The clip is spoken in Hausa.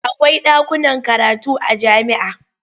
Akwai ɗakunan karatu a jami'a.